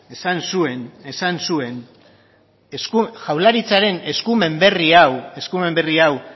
esan zuen esan zuen jaurlaritzaren eskumen berri hau eskumen berri hau